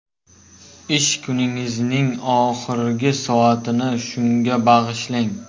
Ish kuningizning oxirgi soatini shunga bag‘ishlang.